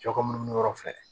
Cɛ kɔ munnu mi yɔrɔ fɛ